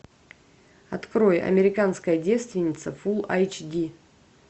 открой американская девственница фул айч ди